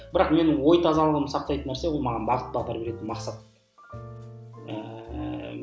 бірақ менің ой тазалығымды сақтайтын нәрсе ол маған бағыт бағдар беретін мақсат ііі